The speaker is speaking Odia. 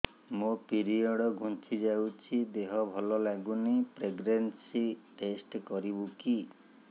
ମୋ ପିରିଅଡ଼ ଘୁଞ୍ଚି ଯାଇଛି ଦେହ ଭଲ ଲାଗୁନି ପ୍ରେଗ୍ନନ୍ସି ଟେଷ୍ଟ କରିବୁ କି